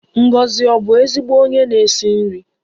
Ngozi ọ̀ bụ ezigbo onye na-esi nri?